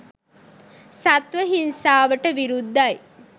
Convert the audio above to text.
සත්ව හිංසාවට විරුද්ධයි